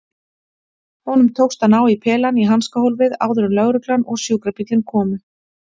Honum tókst að ná í pelann í hanskahólfið áður en lögreglan og sjúkrabíllinn komu.